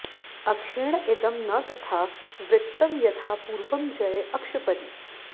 अक्षेण इदं न तथा वृत्तं यथा पूर्वं जये अक्षपरि